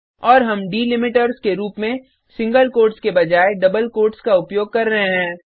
और हम डैलिमीटर्स के रूप में सिंगल कोट्स के बजाय डबल कोट्स का उपयोग कर रहे हैं